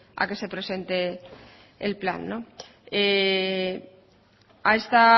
a que se presente el plan a esta